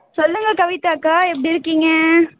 சொல்லுங்க கவிதாக்கா எப்படி இருக்கீங்க